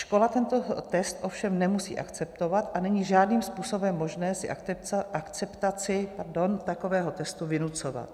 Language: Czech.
Škola tento test ovšem nemusí akceptovat a není žádným způsobem možné si akceptaci takového testu vynucovat.